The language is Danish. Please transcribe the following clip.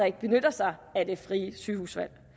ikke benytter sig af det frie sygehusvalg